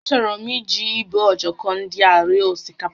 Achọrọ m iji ibe ojoko ndị a rie osikapa